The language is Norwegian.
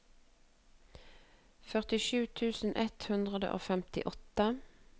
førtisju tusen ett hundre og femtiåtte